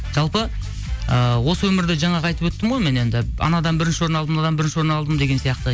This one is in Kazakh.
жалпы ыыы осы өмірде жаңағы айтып өттім ғой мен енді анадан бірінші орын алдым мынадан бірінші орын алдым деген сияқты